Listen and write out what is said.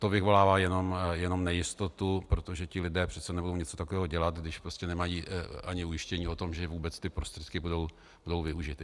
To vyvolává jenom nejistotu, protože ti lidé přece nebudou něco takového dělat, když prostě nemají ani ujištění o tom, že vůbec ty prostředky budou využity.